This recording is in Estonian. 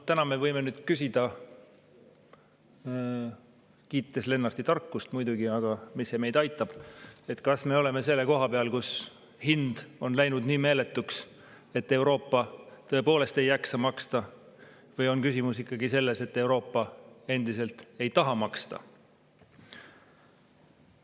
Täna me võime küsida – kiites muidugi Lennarti tarkust, aga mis see meid aitab –, kas me oleme selle koha peal, kus hind on läinud nii meeletuks, et Euroopa tõepoolest ei jaksa maksta, või on küsimus ikkagi selles, et Euroopa endiselt ei taha maksta.